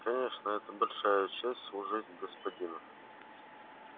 конечно это большая честь служить господину